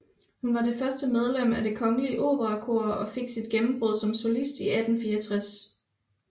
Hun var først medlem af Det Kongelige Operakor og fik sit gennembrud som solist i 1864